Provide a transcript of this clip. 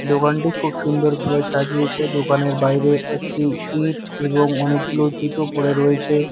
দোকানটি খুব সুন্দরভাবে সাজিয়েছে দোকানের বাইরে একটি ইঁট এবং অনেকগুলো জুতো পড়ে রয়েছে।